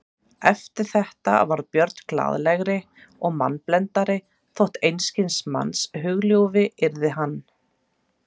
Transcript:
Eftir þetta varð Björn glaðlegri og mannblendnari þótt einskis manns hugljúfi yrði hann.